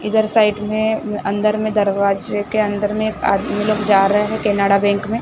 इधर साइड में अंदर में दरवाजे के अंदर में आदमी लोग जा रहे हैं केनरा बैंक में --